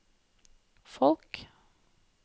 folk